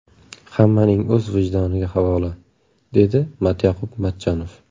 Hammaning o‘z vijdoniga havola”, dedi Matyoqub Matchonov.